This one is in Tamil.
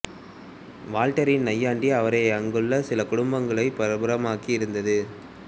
வால்டேரின் நையாண்டி அவரை அங்குள்ள சில குடும்பங்களில் பிரபலமாக்கி இருந்தது